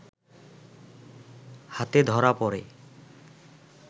হাতে ধরা পড়ে